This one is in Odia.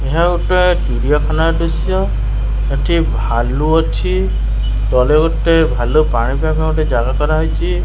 ଏହା ଗୋଟେ ଚିଡ଼ିଆ ଖାନାର ଦୃଶ୍ୟ ଏଠି ଭାଲୁ ଅଛି ବଡ଼ ଗୋଟେ ଭାଲୁ ପାଣି ପାଇବାପାଇଁ ଜାଗା କରାଯାଇଛି।